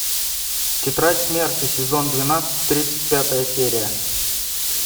тетрадь смерти сезон двенадцать тридцать пятая серия